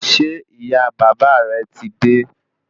Ṣé ìyá bàbá rẹ ti dé?